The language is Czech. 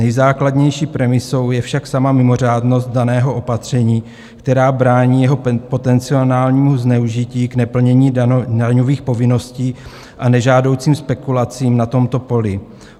Nejzákladnější premisou je však sama mimořádnost daného opatření, která brání jeho potenciálnímu zneužití k neplnění daňových povinností a nežádoucím spekulacím na tomto poli.